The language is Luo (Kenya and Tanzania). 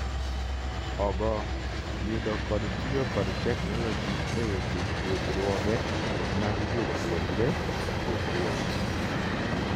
ogo, yudo kod tiyo kod technologi e weche puojruoge mag jopuonjre, jopuonj